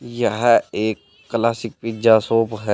यह एक classic pizza shop हैं।